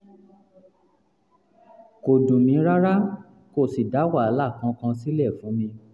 kò dùn mí rárá kò sì dá wàhálà kankan sílẹ̀ fún mi